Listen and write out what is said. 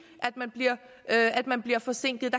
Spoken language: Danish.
at man bliver forsinket